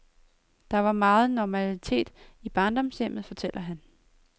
Der var megen normalitet i barndomshjemmet, fortæller han.